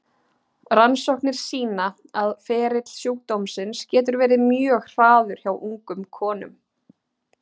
Rannsóknir sýna að ferill sjúkdómsins getur verið mjög hraður hjá ungum konum.